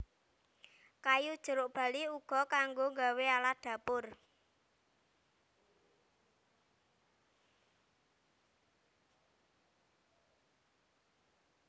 Kayu jeruk bali uga kanggo nggawe alat dapur